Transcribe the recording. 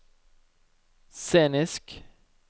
scenisk